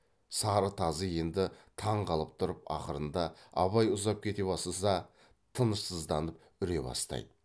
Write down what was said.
сары тазы енді таңқалып тұрып ақырында абай ұзап кете бастаса тынышсызданып үре бастайды